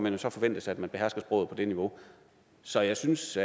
jo så forventes at man behersker sproget på det niveau så jeg synes